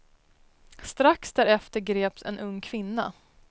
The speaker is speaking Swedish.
Strax därefter greps en ung kvinna.